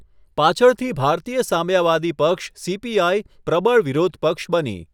પાછળથી ભારતીય સામ્યવાદી પક્ષ, સીપીઆઈ પ્રબળ વિરોધ પક્ષ બની.